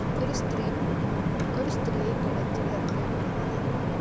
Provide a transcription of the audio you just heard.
ഒരു സ്ത്രീയെ കിണറ്റിലെറിഞ്ഞാണ് കൊന്നത്